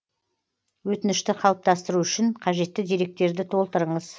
өтінішті қалыптастыру үшін қажетті деректерді толтырыңыз